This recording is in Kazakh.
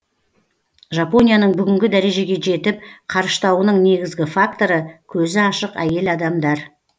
жапонияның бүгінгі дәрежеге жетіп қарыштауының негізгі факторы көзі ашық әйел адамдар